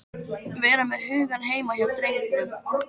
Vera með hugann heima hjá drengnum.